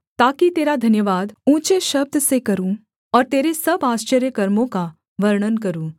ताकि तेरा धन्यवाद ऊँचे शब्द से करूँ और तेरे सब आश्चर्यकर्मों का वर्णन करूँ